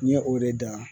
N ye o de da